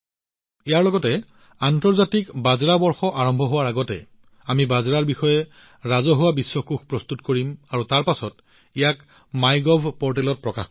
ইয়াৰ সৈতে আন্তৰ্জাতিক বাজৰা বৰ্ষ আৰম্ভ হোৱাৰ আগতে আমি বাজৰাৰ বিষয়ে ৰাজহুৱা বিশ্বকোয়ো প্ৰস্তুত কৰিব পাৰিম আৰু তাৰ পিছত ইয়াক মাইগভ পৰ্টেলত প্ৰকাশ কৰিম